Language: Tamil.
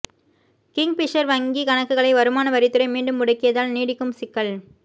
கிங்பிஷர் வங்கிக் கணக்குகளை வருமான வரித்துறை மீண்டும் முடக்கியதால் நீடிக்கும் சிக்கல்